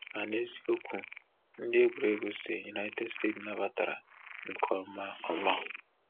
Ma, n’eziokwu, ndị egwuregwu si United States nabatara nke ọma. ọma.